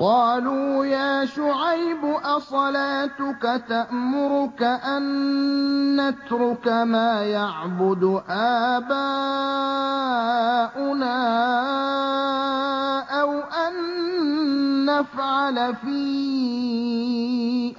قَالُوا يَا شُعَيْبُ أَصَلَاتُكَ تَأْمُرُكَ أَن نَّتْرُكَ مَا يَعْبُدُ آبَاؤُنَا أَوْ أَن نَّفْعَلَ فِي